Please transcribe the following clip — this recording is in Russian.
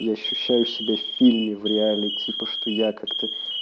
я ощущаю себя в фильме в реале типа что я как-то